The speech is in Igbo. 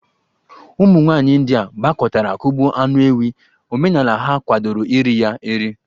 Ụmụ nwaanyị ndia gbakọtara kugbo anụ ewi, omenala ha kwadoro iri ya eri.